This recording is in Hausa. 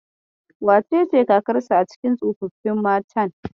Wacece kakarsu a cikin tsofaffin matan?